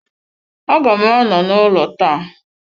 Aga m anọ n'ụlọ taa.